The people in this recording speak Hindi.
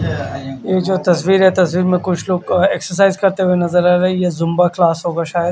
और जो तस्वीर है तस्वीर में कुछ लोग एक्सरसाइज करते नज़र आ रहे है ये ज़ुम्बो क्लास है शायद--